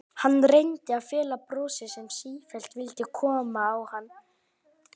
Hann reyndi að fela brosið sem sífellt vildi koma á hann.